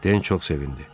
Den çox sevindi.